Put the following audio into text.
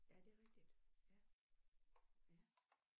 Ja det rigtigt ja ja